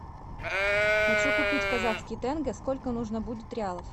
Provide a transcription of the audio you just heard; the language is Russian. хочу купить казахский тенге сколько нужно будет реалов